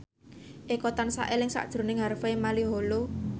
Eko tansah eling sakjroning Harvey Malaiholo